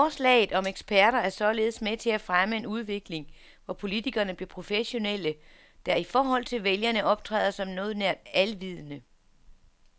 Forslaget om eksperter er således med til at fremme en udvikling, hvor politikerne bliver professionelle, der i forhold til vælgerne optræder som noget nær alvidende.